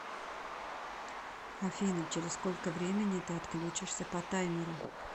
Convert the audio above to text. афина через сколько времени ты отключишься по таймеру